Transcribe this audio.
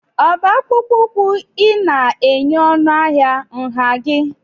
ọ bụ akpụkpọ ụkwụ ị na-enye ọnụ ahịa nha gị?